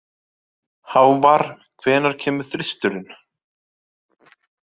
Hávarr, hvenær kemur þristurinn?